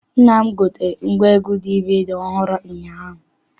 Nna m gotere ngwaegwu DVD ọhụụ ụnyaahụ.